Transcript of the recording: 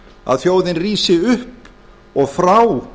að þjóðin rísi upp og frá